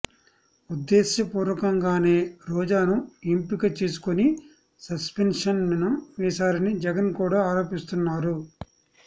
ఉద్దేశ్యపూర్వకంగానే రోజాను ఎంపిక చేసుకొని సస్పెన్షన్ వేశారని జగన్ కూడా ఆరోపిస్తున్నారు